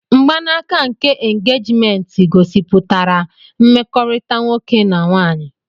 Mgbanaka nke engejiment igosipụtara mmekorita nwoke na nwaanyị.